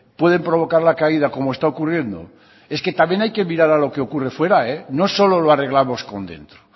pueden provocar la caída como está ocurriendo es que también hay que mirar a lo que ocurre fuera no solo lo arreglamos con dentro